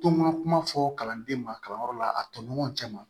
To n ka kuma fɔ kalanden ma kalanyɔrɔ la a tɔɲɔgɔnw cɛ ma